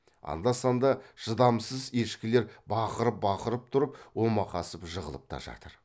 анда санда шыдамсыз ешкілер бақырып бақырып тұрып омақасып жығылып та жатыр